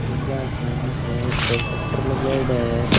Bajaj finance है ऊपर shutter लगाएड़ा है।